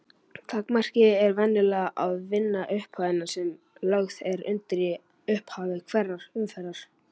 Takmarkið er venjulega að vinna upphæðina sem lögð er undir í upphafi hverrar umferðar.